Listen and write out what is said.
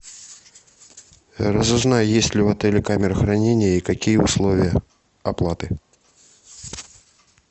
разузнай есть ли в отеле камеры хранения и какие условия оплаты